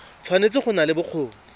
tshwanetse go nna le bokgoni